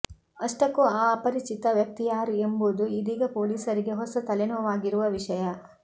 ಅಷ್ಟಕ್ಕೂ ಆ ಅಪರಿಚಿತ ವ್ಯಕ್ತಿ ಯಾರು ಎಂಬುದು ಇದೀಗ ಪೊಲೀಸರಿಗೆ ಹೊಸ ತಲೆನೋವಾಗಿರುವ ವಿಷಯ